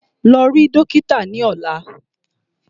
Lọ rí dókítà ni ọ̀la!